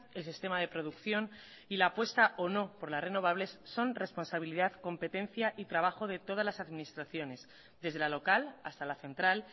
el sistema de producción y la apuesta o no por las renovables son responsabilidad competencia y trabajo de todas las administraciones desde la local hasta la central